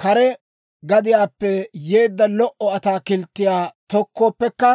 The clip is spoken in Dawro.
kare gadiyaappe yeedda lo"o ataakilttiyaa tokkooppekka,